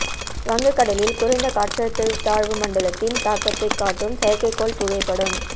வங்கக் கடலில் குறைந்த காற்றழுத்த தாழ்வு மண்டலத்தின் தாக்கத்தை காட்டும் செயற்கைக்கோள் புகைப்படம்